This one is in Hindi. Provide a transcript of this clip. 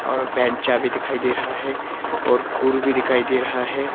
और बैंचा भी दिखाई दे रहा है और कुर भी दिखाई दे रहा है।